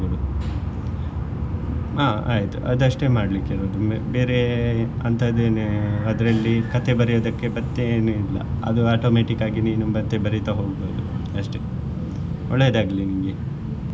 ಆ ಆಯ್ತು ಅದಷ್ಟೇ ಮಾಡ್ಲಿಕ್ಕೆ ಇರುದು ಬೇರೆ ಅಂಥದ್ದೇನು ಅದ್ರಲ್ಲಿ ಕಥೆ ಬರಿಯುದಕ್ಕೆ ಮತ್ತೆ ಏನು ಇಲ್ಲ ಅದು automatic ಆಗಿ ನೀನ್ ಮತ್ತೆ ಬರೀತಾ ಹೋಗ್ಬಹುದು ಅಷ್ಟೇ ಒಳ್ಳೇದಾಗಲಿ ನಿಂಗೆ.